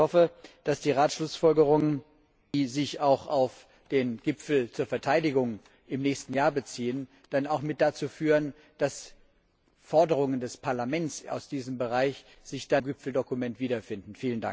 Ich hoffe, dass die Ratsschlussfolgerungen, die sich auch auf den Gipfel zur Verteidigung im nächsten Jahr beziehen, dann auch mit dazu führen, dass sich Forderungen des Parlaments aus diesem Bereich im Gipfeldokument wiederfinden.